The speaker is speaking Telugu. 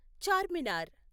చార్మినార్